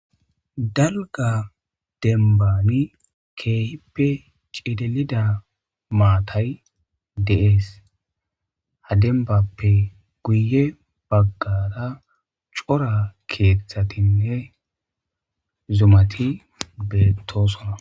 dalga dembani keehippe cidelida maatay deees ha dembappe guye baggada cora keeththatinne zumati bentosona